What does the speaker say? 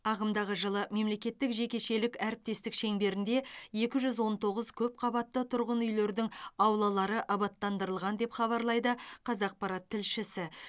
ағымдағы жылы мемлекеттік жекешелік әріптестік шеңберінде екі жүз он тоғыз көпқабатты тұрғын үйлердің аулалары абаттандырылған деп хабарлайды қазақпарат тілшісі